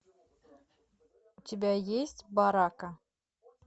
у тебя есть барака